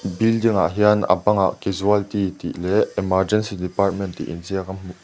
building ah hian a bangah casualty tih leh emergency department tih in ziak ka--